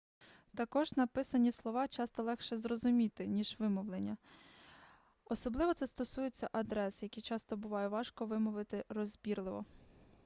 також написані слова часто легше зрозуміти ніж вимовлені особливо це стосується адрес які часто буває важко вимовити розбірливо